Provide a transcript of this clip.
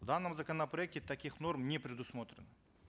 в данном законопроекте таких норм не предусмотрено